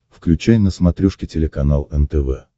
включай на смотрешке телеканал нтв